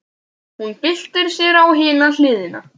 Hún byltir sér á hina hliðina.